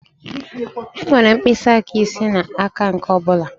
Enwere mkpịsị aka ise n'aka nke ọ bụla.